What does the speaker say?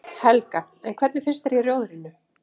Helga: En hvernig finnst þér í Rjóðrinu?